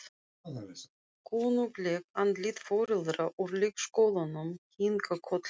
Kunnugleg andlit foreldra úr leikskólanum kinka kolli.